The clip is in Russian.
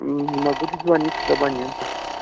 мм не могу дозвониться до абонентов